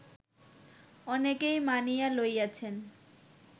অনেকেই মানিয়া লইয়াছেন